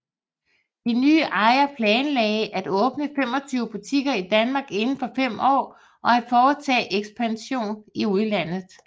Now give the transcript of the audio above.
De nye ejere planlagde at åbne 25 butikker i Danmark inden for fem år og at foretage ekspansion i udlandet